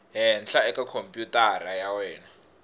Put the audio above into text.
henhla eka khompyutara ya wena